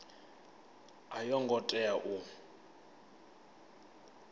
a yo ngo tea u